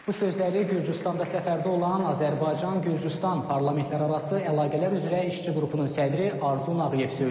Bu sözləri Gürcüstanda səfərdə olan Azərbaycan-Gürcüstan parlamentlərarası əlaqələr üzrə işçi qrupunun sədri Arzu Nağıyev söyləyib.